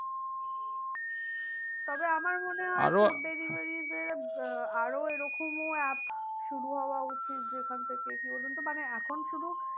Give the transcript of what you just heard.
তবে আমার মনে হয় food deliveries এর আরো এরকম ও app শুরু হওয়া উচিত যেখান থেকে কি বলুন তো মানে এখন শুধু